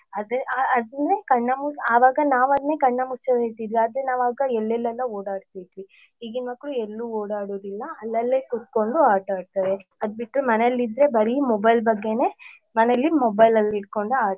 ಅದ್ ಅದಂದ್ರೆ ಕಣ್ಣಮು ಅವಾಗ ನಾವ್ ಅದ್ನೇ ಕಣ್ಣ ಮುಚ್ಚಾಲೆ ಅಂತಿದ್ವಿ ಅದೆ ನಾವ್ ಆಗ ಎಲ್ಲೆಲ್ಲಾ ಓಡಾಡ್ತಾ ಇದ್ವಿ ಈಗಿನ ಮಕ್ಳು ಎಲ್ಲು ಓಡಾಡುದಿಲ್ಲ ಅಲ್ಲಲೇ ಕುತ್ಕೊಂಡು ಆಟಾಡ್ತಾರೆ ಅದ್ದ್ ಬಿಟ್ರೆ ಮನೇಲಿ ಇದ್ರೆ ಬರಿ mobile ಬಗ್ಗೆನೇ ಮನೇಲಿ mobile ಅಲ್ಲಿ ಇಟ್ಕೊಂಡು .